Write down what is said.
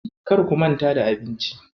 Kar ku manta da abinci.